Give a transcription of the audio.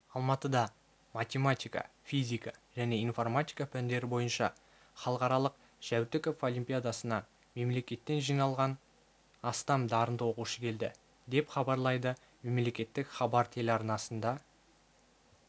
алматыда математика физика және информатика пәндері бойынша халықаралық жәутіков олимпиадасына мемлекеттен жиналған астам дарынды оқушы келді деп хабарлайды мемлекеттік хабар телеарнасына